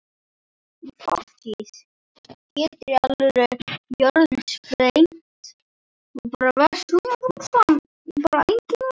Í fortíð!